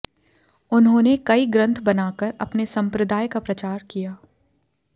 उन्होंने कई ग्रन्थ बनाकर अपने सम्प्रदाय का प्रचार किया